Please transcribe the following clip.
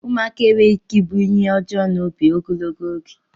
Ụmụaka enweghị ike ịbụ ihe ọjọọ n'obi ogologo oge